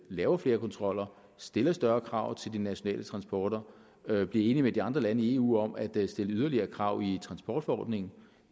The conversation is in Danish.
laver flere kontroller stiller større krav til de nationale transporter og bliver enige med de andre lande i eu om at stille yderligere krav i transportforordningen